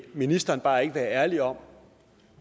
ministeren bare ikke være ærlig om